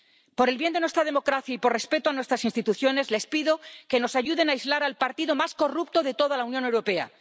Por el bien de nuestra democracia y por respeto a nuestras instituciones, les pido que nos ayuden a aislar al partido más corrupto de toda la Unión Europea.